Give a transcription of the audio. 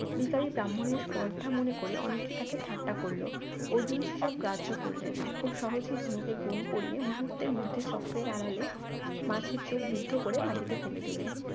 ভিখারি ব্রাহ্মনের স্পর্ধা মনে করে অনেকে তাকে ঠাট্টা করলো অর্জুন সেসব গ্রাহ্য করলেন না খুব সহজে ধনুকে গুন পরিয়ে মুহূর্তের মধ্যে চক্রের আড়ালে মাছের চোখ বিদ্ধ করে মাটিতে ফেলে দিলেন